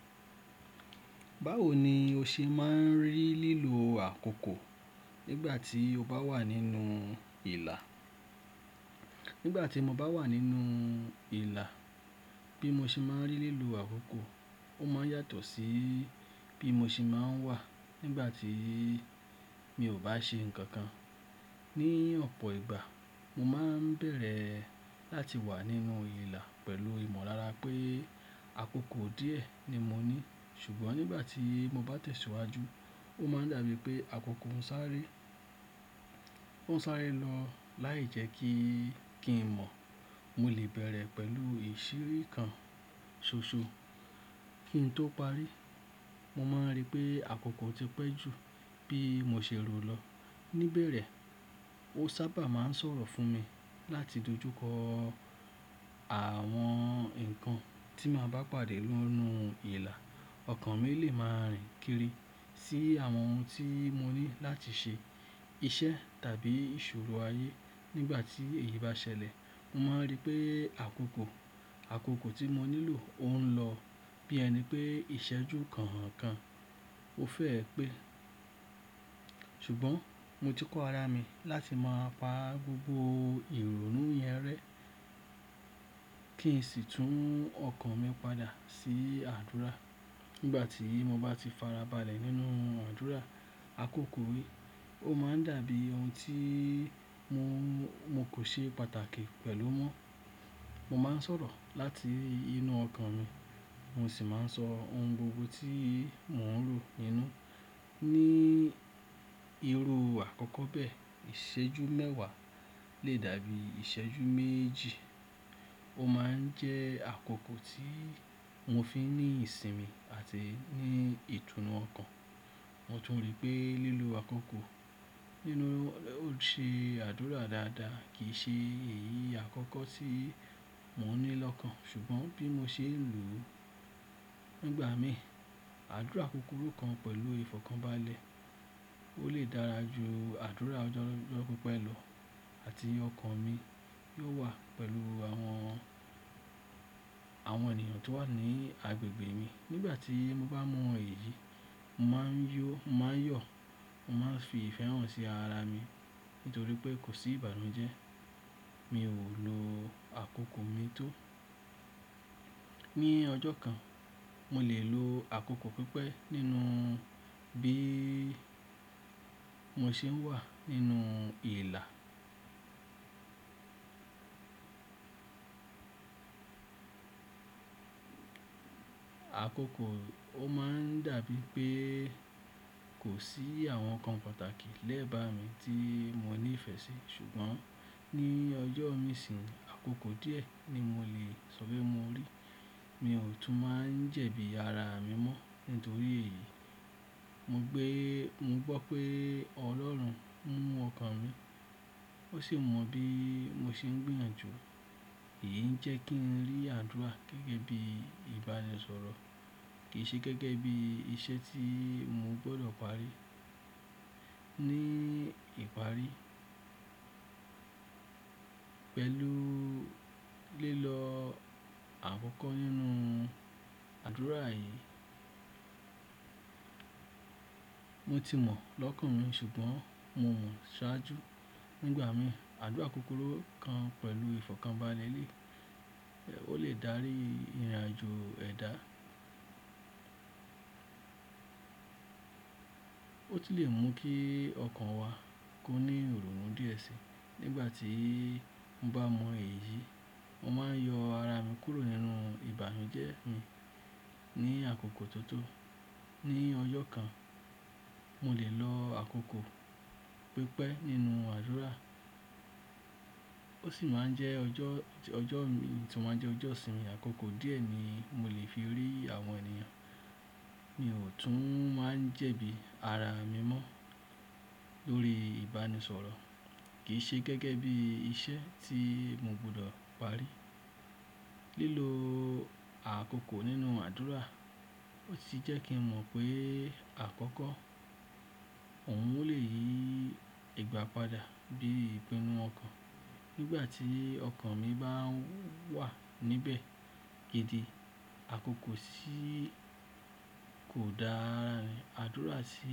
Báwo ni o ṣe máa ń rí lílo àkókò nígbà tí o bá wà nínú ìlà? Nígbà tí mo bá wà nínú ìlà, bí mo ṣe máa ń rí lílo àkókò ó máa ń yàtọ̀ sí bí mo ṣe máa ń wà nígbà tí mi ò bá ṣe nǹkan. Ni ọ̀pọ̀ ìgbà mo máa ń bẹ̀rẹ̀ láti wà nínú ìlà pẹ̀lú ìmọ̀lára pé àkókò díẹ̀ ni mo ní. Ṣùgbọ́n nígbà tí mo bá tẹ̀síwájú, ó máa ń dàbí pé àkókò ń sáré, ó ń sáré lọ láìjẹ́kí kí n mọ̀. Mo lè bẹ̀rẹ̀ pẹ̀lú ìṣeré kan ṣoṣo kí n tó parí. Mo máa ń rí pé àkókò ti pẹ́ ju bí mo ṣe rò lọ. Ni bẹ̀rẹ̀, ó sábà máa ń sọ̀rọ̀ fún mi láti dojúkọ àwọn nǹkan tí màá bá pàdé nínú ìlà. Ọ̀kan mi lè máa rìn kiri sí àwọn ohun tí mo ní láti ṣe, iṣẹ́ tàbí ìṣòro ayé. Nígbà tí èyí bá ṣẹlẹ̀, mo máa ń rí pé àkókò, àkókò tí mo nílò ó ń lọ bí ẹni pé ìṣẹ́jú kọ̀ọ̀kan ó fẹ́ẹ́ pé. Ṣùgbọ́n mo ti kọ́ ara mi láti máa pa gbogbo ìrònú yẹn rẹ́ kí n sì tú ọkàn mi padà sí àdúrà. Nígbà tí mo bá ti fara balẹ̀ nínú àdúrà, àkókò yìí ó máa ń dàbí ohun tí mo, mo kò ṣe pàtàkì pẹ̀lú mọ́. Mo máa ń sọ̀rọ̀ láti inú ọkàn mi, mo sì máa ń sọ ohun gbogbo tí mò ń ro nínú. Ni irú àkọ́kọ́ bẹ́ẹ̀, ìṣẹ́jú mẹ́wàá lè dàbí ìṣẹ́jú méjì. Ó máa ń jẹ́ àkókò tí mo fi n ní ìsinmi àti ní ìtùnú ọkàn. Mo tún rí pé lílo àkókò nínú, ní ó ṣe àdúrà dáadáa kì í ṣe èyí àkọ́kọ́ tí mò ń ní lọ́kàn. Ṣùgbọ́n bí mo ṣe ń lùú nígbà mi, àdúrà kúkúrú kan pẹ̀lú ìfọ̀kànbalẹ̀ ó lè dára ju àdúrà ọjọ́, ọjọ́ pípẹ́ lọ àti ọkàn mi yóò wà pẹ̀lú àwọn, àwọn ènìyàn tó wà ní agbègbè mi. Nígbà tí mo bá mọ èyí, mo máa ń yó, mo máa ń yọ̀, mo máa ń fi ìfẹ́ hàn sí ara mi nítorí pé kò sí ìbànújẹ́. Mi ò lo àkókò mi tó. Ni ọjọ́ kan, mo lè lo àkókò pípẹ́ nínú bí mo ṣe ń wà nínú ìlà. Àkókò ó máa ń dàbí pé kò sí àwọn nǹkan pàtàkì lẹ́bàá mi tí mo ní ìfẹ́ sí. Ṣùgbọ́n ní ọjọ́ mi nsin, àkókò díẹ̀ ni mo lè ṣọpe mo rí. Mi ò tún máa ń jẹ̀bi ara mi mọ́ nítorí èyí. Mo gbé, mo gbọ́ pé Ọlọ́run mọ ọkàn mi. Ó sì mọ bí mo ṣe ń gbìyànjú. Èyí ń jẹ́ kí n rí àdúrà gẹ́gẹ́ bí ìbánisọ̀rọ̀ kì í ṣe gẹ́gẹ́ bí iṣẹ́ tí mo gbọdọ̀ parí. Ni ìparí, pẹ̀lú lílọ àkọkọ nínú àdúrà yìí, mo ti mọ̀ lọ́kàn mi ṣùgbọ́n mo mọ ṣàájú. Ni ìgbà mi, àdúrà kúkúrú kan pẹ̀lú ìfọ̀kànbalẹ̀ lè, o lè dárí ìrìnàjò ẹ̀dá. Ó sì lè mú kí ọkàn wa kó ní ìrònú díẹ̀ sí i. Nígbà tí mo bá mọ èyí, mo máa ń yọ ara mi kúrò nínú ìbànújẹ́ mi ní àkókò tó tó. Ni ọjọ́ kan, mo lè lo àkókò pípẹ́ nínú àdúrà. Ó sì máa ń jẹ́ ọjọ́, ọjọ́ mi sì máa ń jẹ́ ọjọ́ ìsinmi. Àkókò díẹ̀ ni mo lè fi rí àwọn ènìyàn. Mi ò tún máa ń jẹ̀bi ara mi mọ́ lórí ìbánisọ̀rọ̀. Kì í ṣe gẹ́gẹ́ bí iṣẹ́ tí mo gbọdọ̀ parí. Lílo àkókò nínú àdúrà ó sì jẹ́ kí n mọ̀ pé àkùkọ, òún lè yí ìgbà padà bí ìpínnu ọkàn. Nígbà tí ọkàn mi bá wà níbẹ̀ gidi, àkókò sì kò dára àdúrà sí-